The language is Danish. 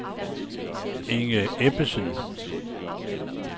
Inge Ebbesen